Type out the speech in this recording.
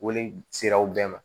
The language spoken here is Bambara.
Wele sera aw bɛɛ ma